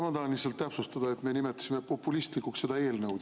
Ma tahan lihtsalt täpsustada, et me nimetasime populistlikuks seda eelnõu.